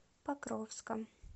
покровском